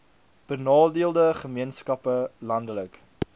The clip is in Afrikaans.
benadeelde gemeenskappe landelike